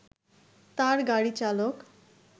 তার গাড়ি চালক